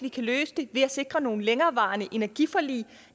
vi kan løse det ved at sikre nogle længerevarende energiforlig